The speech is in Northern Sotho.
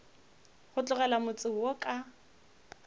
go tlogela motse wo ka